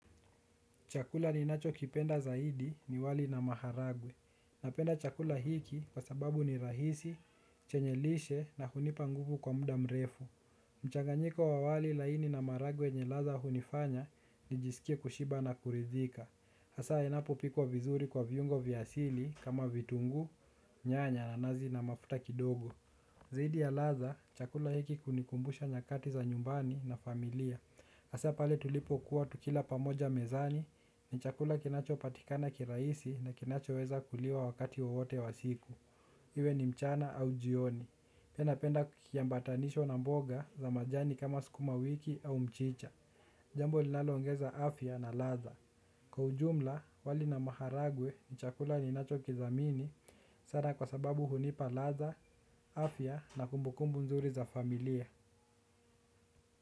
Chakula ninachokipenda zaidi ni wali na maharagwe. Napenda chakula hiki kwa sababu ni rahisi, chenye lishe na hunipa nguvu kwa muda mrefu. Mchanganyiko wa wali laini na maharagwe yenye ladha hunifanya nijisikie kushiba na kuridhika. Hasa inapo pikwa vizuri kwa viungo vyasili kama vitunguu, nyanya na nazi na mafuta kidogo. Zaidi ya ladha, chakula hiki hunikumbusha nyakati za nyumbani na familia. Hasa pale tulipo kuwa tukila pamoja mezani ni chakula kinacho patikana kirahisi na kinacho weza kuliwa wakati wowote wa siku. Iwe ni mchana au jioni. Pia napenda kukiambatanisha na mboga ya majani kama mchicha jambo linaloongeza afya na latha. Kwa ujumla, wali na maharagwe ni chakula ninacho kidhamini. Sana kwa sababu hunipa latha, afya na kumbukumbu nzuri za familia.